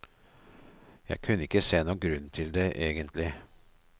Jeg kunne ikke se noen grunn til det, egentlig.